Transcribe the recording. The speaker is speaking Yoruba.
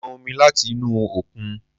Mo pọn omi láti inú òkun